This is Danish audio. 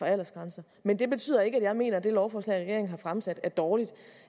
aldersgrænse men det betyder ikke at jeg mener at det lovforslag regeringen har fremsat er dårligt